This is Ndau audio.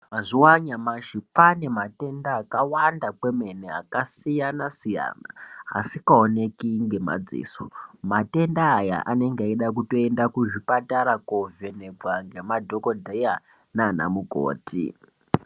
Mazuwa anyamashi kwaane matenda akawanda kwemene akasiyanasiyana asikaoneki ngemadziso .Matenda aya anenge eida kutotenda kuzvipatara koovhenekwa ngemadhokodheya naana mukoti.